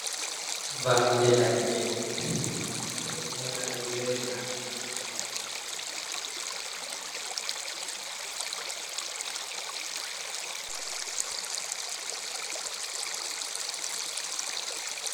Vamde ladde ɓeɗo yona ɗum zebra.